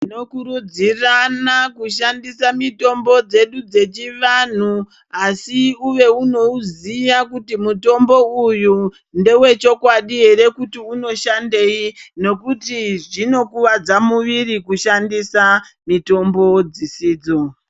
Tinokurudzirana kushandise mitombo dzedu dzechivanhu, asi uve unewuziya kuti mutombo uyu ndewechokwadi here kuti unoshandeyi, nokuti zvinokuvadza muviri kushandisa mitombo dzisidzo.